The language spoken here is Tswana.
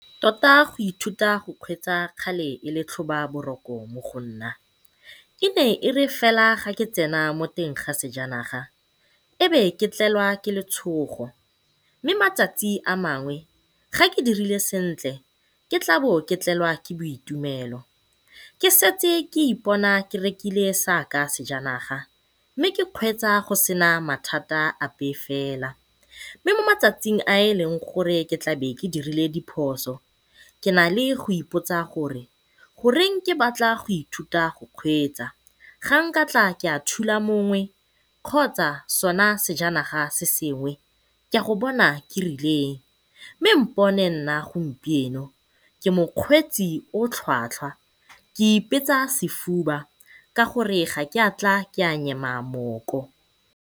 Tota go ithuta go kgweetsa kgale e le tlhoba boroko mo go nna e ne e re fela fa ke tsena mo teng ga sejanaga ebe ke tlelwa ke letshogo, mme matsatsi a mangwe ge ke dirile sentle ke tlabe ke tlelwa ke boitumelo. Ke setse ke ipona ke rekile saka sejanaga, mme ke kgweetsa go sena mathata ape fela. Mme mo matsatsing a e leng gore ke tla be ke dirile diphoso ke nale go ipotsa gore, goreng ke batla go ithuta go kgweetsa. Ga nkatla ka thula mongwe kgotsa sone sejanaga se sengwe ke ya go bona kerileng, mme bona nna gompieno ke mokgweetsi o o tlhwatlhwa ke ipetsa sefuba ka gore ga ke a tla ka nyema mooko.